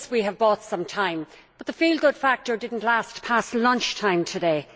Yes, we have bought some time, but the feel good factor did not last past lunchtime today.